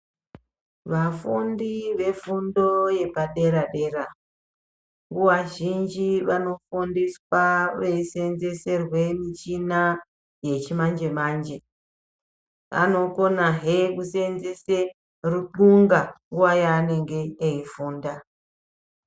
Vafundi vefundo yepaderadera vazhinji vanofundiswa veisenzeserwe michina yechimanje manje vanokona hee kusenzese rutxunga nguwa yaanenge eifunda.